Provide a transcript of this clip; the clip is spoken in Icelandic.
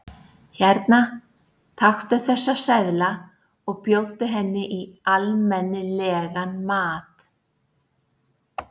Hérna, taktu þessa seðla og bjóddu henni í almenni- legan mat.